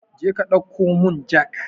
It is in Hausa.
Jeka ɗauko mun jak